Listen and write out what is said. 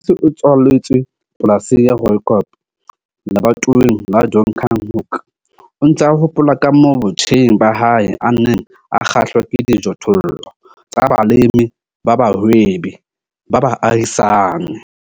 Sifiso o tswaletswe polasing ya Rooikop lebatoweng la Donkerhoek. O ntse a hopola ka moo botjheng ba hae a neng a kgahlwa ke dijothollo tsa balemi ba bahwebi ba baahisani.